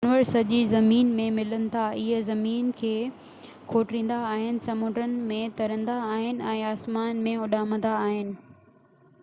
جانور سڄي زمين ۾ ملن ٿا اهي زمين کي کوٽيندا آهن سمنڊن ۾ ترندا آهن ۽ آسمان ۾ اڏامندا آهن